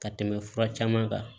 Ka tɛmɛ fura caman kan